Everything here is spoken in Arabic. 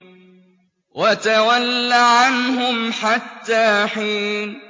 وَتَوَلَّ عَنْهُمْ حَتَّىٰ حِينٍ